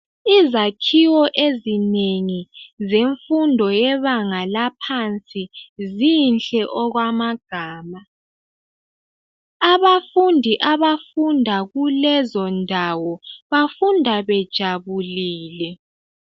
Izakhiwo ezinengi zemfundo yebanga laphansi zinhle okwamagama. Abafundi abafunda kulezo ndawo bafunda bejabulile.